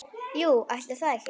Jú, ætli það ekki.